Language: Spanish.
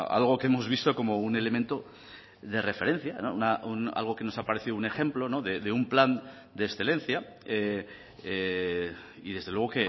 algo que hemos visto como un elemento de referencia algo que nos ha parecido un ejemplo de un plan de excelencia y desde luego